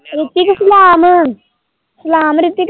ਰਿਤਕ ਸਲਾਮ, ਸਲਾਮ ਰਿਤਕ।